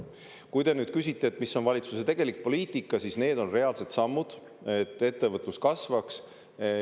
Kui te nüüd küsite, mis on valitsuse tegelik poliitika, siis need on reaalsed sammud, et ettevõtlus kasvaks.